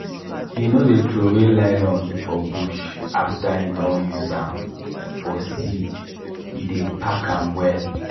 he no dey throw nylon for bush after e don use am for seed e dey pack am well.